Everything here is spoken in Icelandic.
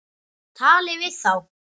Talið við þá.